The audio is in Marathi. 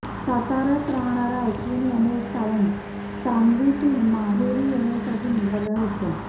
साताऱ्यात राहणाऱ्या अश्विनी अमोल सावंत सांगवीतील माहेरी येण्यासाठी निघाल्या होत्या